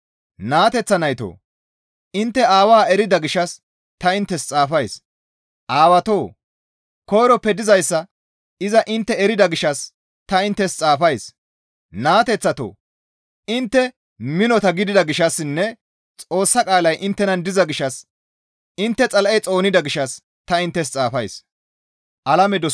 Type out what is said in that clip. Naateththa naytoo! Intte Aawaa erida gishshas ta inttes xaafays; aawatoo! Koyroppe dizayssa iza intte erida gishshas ta inttes xaafays. Naateththatoo! Intte minota gidida gishshassinne Xoossa qaalay inttenan diza gishshas intte Xala7e xoonida gishshas ta inttes xaafays.